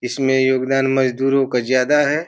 इसमें योगदान मजदूरों को ज्यादा है।